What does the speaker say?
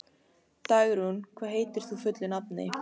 Dagrún, hvað heitir þú fullu nafni?